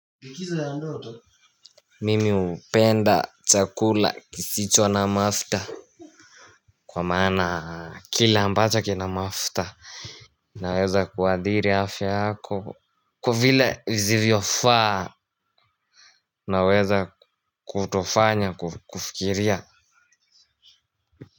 Likizo ya ndoto Mimi upenda chakula kisicho na mafta kwa maana kila ambacho kina mafta. Naweza kuathiri afya yako kwa vile vizivyo faa naweza kutofanya kufikiria.